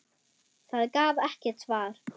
Það gaf ekkert svar.